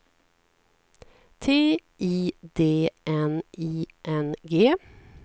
T I D N I N G